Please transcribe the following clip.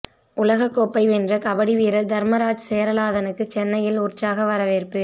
உலக கோப்பை வென்ற கபடி வீரர் தர்மராஜ் சேரலாதனுக்கு சென்னையில் உற்சாக வரவேற்பு